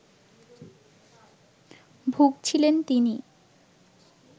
ভুগছিলেন তিনি